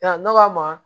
Ya nɔgɔ a ma